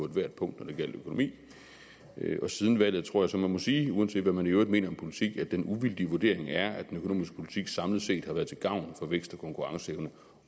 ethvert punkt når det gjaldt økonomi og siden valget tror jeg så man må sige uanset hvad man i øvrigt mener om politik at den uvildige vurdering er at den økonomiske politik samlet set har været til gavn for vækst og konkurrenceevne